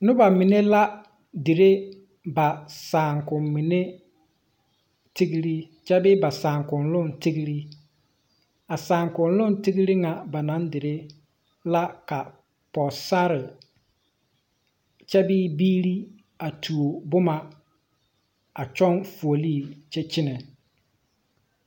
Noba mene la dire ba saakum mene tegree kyɛ bee ba saakuluŋ tegree. A saakuluŋ tegree na ba na dire la ka pogesare kyɛ bee biire a tuo boma a kyoŋ fuole kyɛ kyene